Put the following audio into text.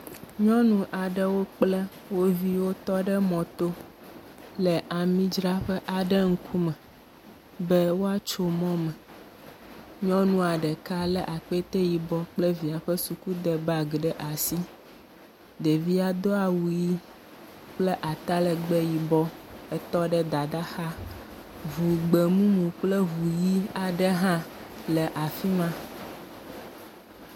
Nyɔnu aɖewo kple wo viwo tɔ ɖe mɔto le amidzraƒe aɖe ŋkume, be woatso mɔ me. Nyɔnua ɖeka lé akpete yibɔ kple via ƒe sukude bagi ɖe asi. Ɖevia do awu ʋi kple atalɛgbɛ yibɔ etɔ ɖe dadaa xa. Ŋu gbemumu kple ŋu ʋi aɖe hã le afi ma.